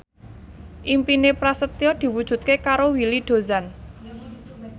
impine Prasetyo diwujudke karo Willy Dozan